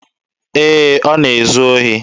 Ee, ọ na-ezu ohi.